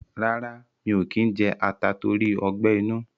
rárá, mi ò kí ń jẹ ata tóri ọgbẹ́-inú.